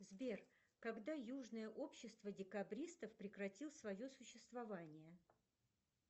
сбер когда южное общество декабристов прекратило свое существование